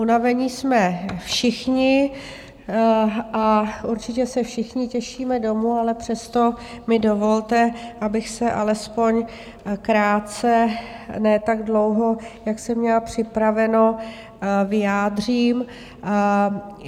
Unavení jsme všichni a určitě se všichni těšíme domů, ale přesto mi dovolte, abych se alespoň krátce, ne tak dlouho, jak jsem měla připraveno, vyjádřila.